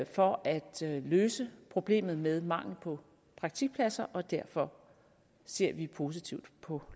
for at løse problemet med mangel på praktikpladser og derfor ser vi positivt på